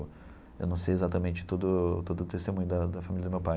Eu não sei exatamente todo o todo o testemunho da da família do meu pai.